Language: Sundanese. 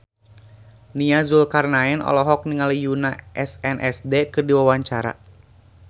Nia Zulkarnaen olohok ningali Yoona SNSD keur diwawancara